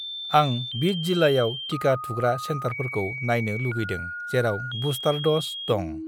आं बिद जिल्लायाव टिका थुग्रा सेन्टारफोरखौ नायनो लुगैदों जेराव बुस्टार द'ज दं।